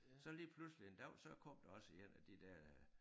Så lige pludselige en dag så kom der også 1 af de der øh